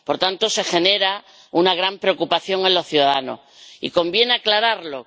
Por tanto, se genera una gran preocupación en los ciudadanos y conviene aclararlo